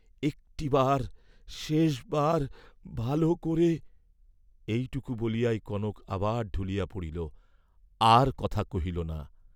"একটিবার, শেষবার, ভাল করে," এইটুকু বলিয়াই কনক আবার ঢুলিয়া পড়িল আর কথা কহিল না।